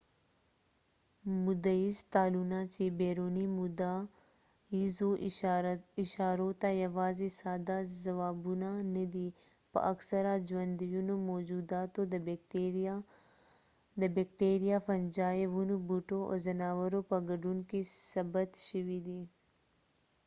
موده ییز تالونه چې بیروني موده ییزو اشارو ته یواځې ساده ځوابونه نه دي په اکثره ژوندیو موجوداتو د بېکټیریا فنجي ونو بوټو او ځناورو په ګډون کې ثبت شوي دي